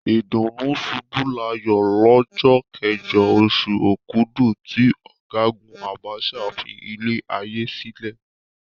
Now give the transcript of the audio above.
Ìdùnnúṣubúláyọ̀ lọ́jọ́ kẹjọ, oṣù Òkudù tí Ọ̀gágùn Abacha filé ayé sílẹ̀.